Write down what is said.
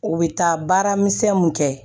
U bɛ taa baara misɛnnin mun kɛ